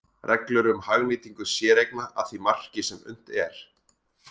Reglur um hagnýtingu séreigna að því marki sem unnt er.